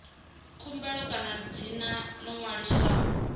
khumbelo kana dzina ḽo ṅwaliswaho